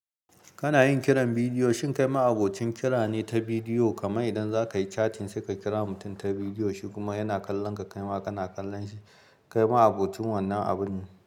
Kana yin kiran bidiyo, shin kai ma abocin kira ne ta bidiyo? Kamar idan za ka yi chatting sai ka kira mutum ta bidiyo, shi kuma yana kallon ka, kai ma kana kallon shi. Kai ma abocin wannan abun ne.